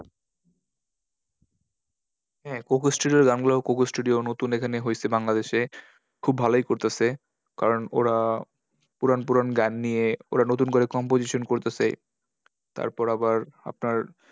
হ্যাঁ coco studio এর গানগুলো coco studio নতুন এখানে হয়েছে বাংলাদেশে। খুব ভালোই করতাসে। কারণ ওরা পুরান পুরান গান নিয়ে ওরা নতুন করে composition করতাসে। তারপর আবার আপনার